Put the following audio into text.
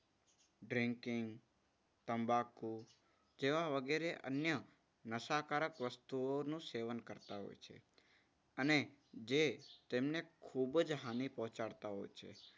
drinking તંબાકુ જેવા વગેરે અન્ય નશાકારક વસ્તુઓનું સેવન કરતા હોય છે. અને જે તેમને ખૂબ જ હાની પહોંચાડતા હોય છે.